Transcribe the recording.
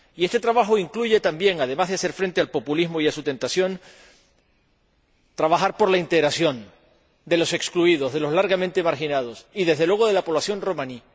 Y este trabajo incluye también, además de hacer frente al populismo y a su tentación, trabajar por la integración de los excluidos, de los largamente marginados y, desde luego, de la población romaní.